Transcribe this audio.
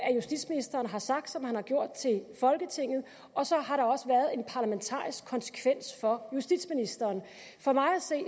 at justitsministeren har sagt det som man har gjort til folketinget og så har der også været en parlamentarisk konsekvens for justitsministeren for mig at se